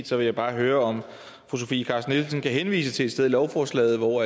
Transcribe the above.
så vil jeg bare høre om fru sofie carsten nielsen kan henvise til et sted i lovforslaget hvor